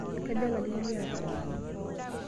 Kaja larin liata?